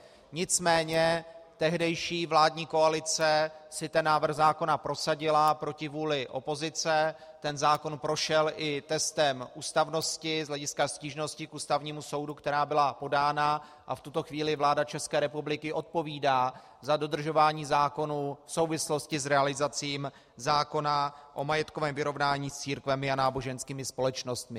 Nicméně tehdejší vládní koalice si ten návrh zákona prosadila proti vůli opozice, ten zákon prošel i testem ústavnosti z hlediska stížnosti k Ústavnímu soudu, která byla podána, a v tuto chvíli vláda České republiky odpovídá za dodržování zákonů v souvislosti s realizací zákona o majetkovém vyrovnání s církvemi a náboženskými společnostmi.